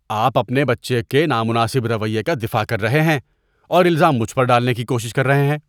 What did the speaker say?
آپ اپنے بچے کے نامناسب رویے کا دفاع کر رہے ہیں اور الزام مجھ پر ڈالنے کی کوشش کر رہے ہیں۔